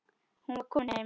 Hún var komin heim.